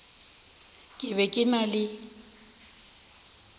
ke be ke na le